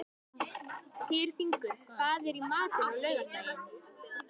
Tyrfingur, hvað er í matinn á laugardaginn?